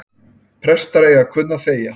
Prestar eiga að kunna að þegja